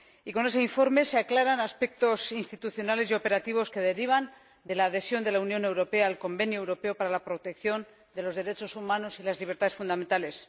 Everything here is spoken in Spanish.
Con ese informe se aclaran aspectos institucionales y operativos que derivan de la adhesión de la Unión Europea al Convenio Europeo para la Protección de los Derechos Humanos y las Libertades Fundamentales.